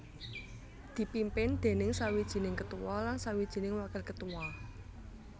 dipimpin déning sawijining ketua lan sawijining wakil ketua